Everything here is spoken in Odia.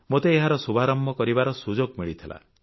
ମୋତେ ଏହାର ଶୁଭାରମ୍ଭ କରିବାର ସୁଯୋଗ ମିଳିଥିଲା